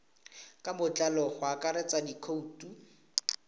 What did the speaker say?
ka botlalo go akaretsa dikhoutu